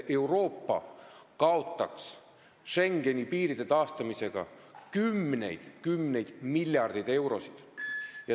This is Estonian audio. Euroopa kaotaks Schengeni piiride taastamisega kümneid-kümneid miljardeid eurosid.